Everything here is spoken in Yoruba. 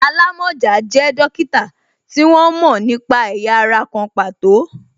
Alamọja jẹ dókítà tí wọ́n mo nípa ẹ̀yà ara kan pàtó